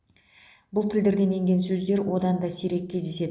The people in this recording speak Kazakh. бұл тілдерден енген сөздер одан да сирек кездеседі